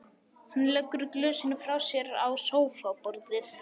Hann leggur glösin frá sér á sófaborðið.